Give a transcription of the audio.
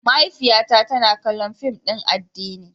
Mahaifiyata tana kallon fim din addini.